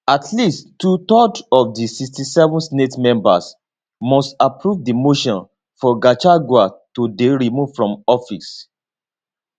at least twothirds of di 67 senate members must approve di motion for gachagua to dey removed from office